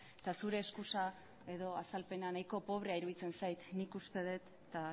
eta zure eskusa edo azalpena nahiko pobrea iruditzen zait nik uste dut eta